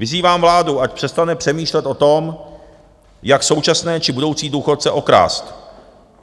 Vyzývám vládu, ať přestane přemýšlet o tom, jak současné či budoucí důchodce okrást,